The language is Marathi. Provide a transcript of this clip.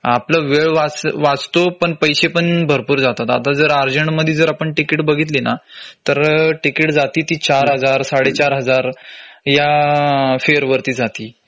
आपलं वेळ वाचतो पण पैसे पण भरपूर जातात. आता जर उर्जेन्ट मध्ये जर आपण तिकिटं बघितली ना तर तिकीटं जाती ती चार हजार साडे चार हजार या fare वरती जातील